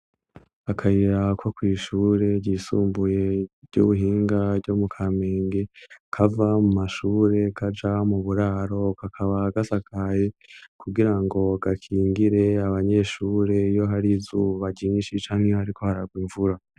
Akayira ko kw' ishure ryisumbuye ry'ubuhinga ryo mu Kamenge, kava mu mashure kaja mu buraro, kakaba gasakaye kugira ngo gakingire abanyeshure iyo hari izuba ryinshi canke iyo hariko haragwa imvura.